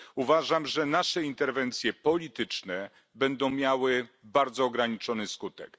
Uważam, że nasze interwencje polityczne będą miały bardzo ograniczony skutek.